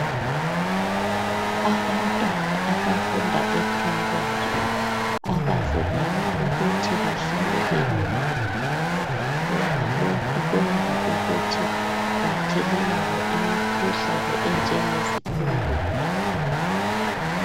Abantwana abafunda eprimary abavunyelwa ukuthi bahlale beminyene ngoba lokhu kwenza ukuthi bathelelane imikhuhlane enjengezikhundula.